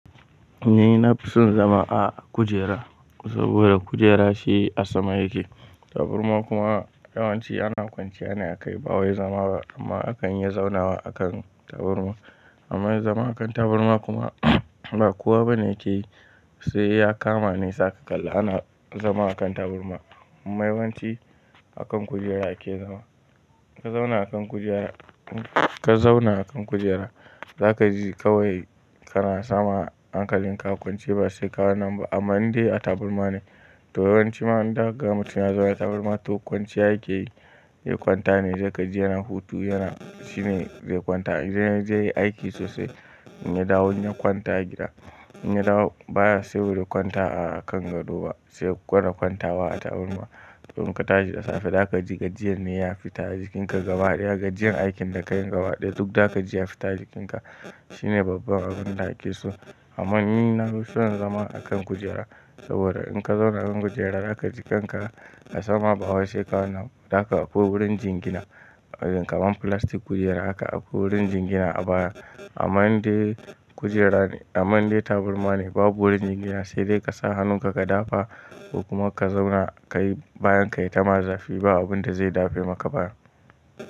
Ni na fi son zama a kujera saboda kujera shi a sama yake. Taburma kuma yawanci ana kwanciya ne a kai, ba wai zama ba amma akan iya zaunawa akan taburma. Amma zama akan taburma kuma ba kowa bane yake yi sai ya kama nesa ƙalla ana zama akan taburma. Mai wanci akan kujera yake zama. Ka zauna akan kujera, ka zauna akan kujera zaka ji kawai kana sama hankalin ka kwance ba sai ka kwana ba. Amma in dai a taburma ne to yawanci ma in da gama mutum ya zauna taburma to kwanciya yake yi. Ya kwanta ne zai gaji yana hutu yana shine zai kwanta. Idan ya je ya yi aiki sosai, in ya dawo ya kwanta a gida. In ya dawo baya siyo wuri kwanta a kan gado ba sai gwamma kwantawa a taburma. To in ka tashi da safe za ka ji gajiyar ne ya fita a jikinka gaba ɗaya. Gajiyar aikin da ka yi gaba ɗaya duk za ka ji ya fita a jikinka. Shi ne babban abun da ake so. Amma ni na fi son zama akan kujera saboda in ka zauna kan kujera za ka ji kanka a sama ba wai sai ka kwana. Za ka aiko wurin jingina kamar filastin kujera aka aiko wurin jingina a baya. Amma in dai kujera ne, amma in dai taburma ne babu wurin jingina sai dai ka sa hannunka ka dafa kuma ka zauna ka yi bayan ka yi tama zafi ba abun da zai dafe maka baya.